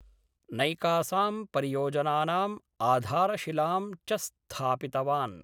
नैकासां परियोजनानां आधारशिलां चस्थापितवान्।